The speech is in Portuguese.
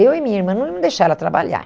Eu e minha irmã não íamos deixar ela trabalhar.